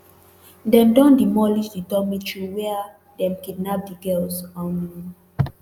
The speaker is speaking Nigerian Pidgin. dem don demolish di dormitory wia dem kidnap di girls um